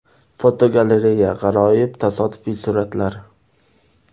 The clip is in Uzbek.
Fotogalereya: G‘aroyib tasodifiy suratlar.